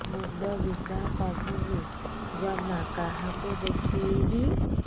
ମୁଣ୍ଡ ବିନ୍ଧା କମୁନି ଜମା କାହାକୁ ଦେଖେଇବି